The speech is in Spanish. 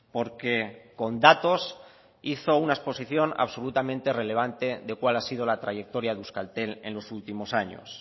porque con datos hizo una exposición absolutamente relevante de cuál ha sido la trayectoria de euskaltel en los últimos años